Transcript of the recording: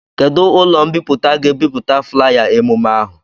Kedụ ụlọ mbipụta ga-ebipụta flaya emume ahụ?